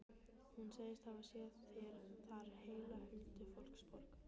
Hún segist hafa séð þar heila huldufólksborg.